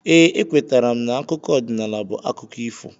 Ee, ekwetara m na akụkọ ọdịnala bụ akụkọ ifo.